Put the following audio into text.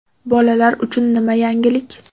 Bolalar uchun nima yangilik?